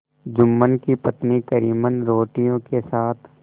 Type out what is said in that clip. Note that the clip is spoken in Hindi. जुम्मन की पत्नी करीमन रोटियों के साथ